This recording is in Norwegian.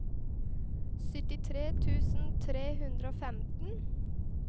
syttitre tusen tre hundre og femten